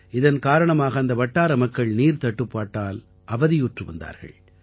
இதன் காரணமாக அந்த வட்டார மக்கள் நீர்த்தட்டுப்பாட்டால் அவதியுற்று வந்தார்கள்